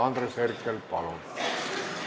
Andres Herkel, palun!